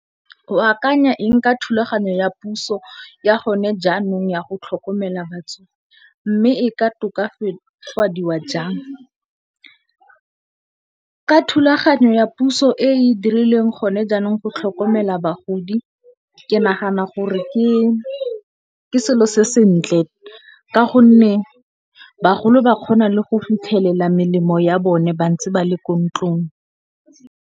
O akanya eng ka thulaganyo ya puso ya gone jaanong ya go tlhokomela batsofe mme e ka tokafadiwa jang? Ka thulaganyo ya puso e e dirilweng gone jaanong go tlhokomela bagodi ke nagana gore ke selo se sentle ka gonne, bagolo ba kgona le go fitlhelela melemo ya bone ba ntse ba le ko ntlong.